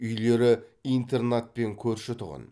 үйлері интернатпен көрші тұғын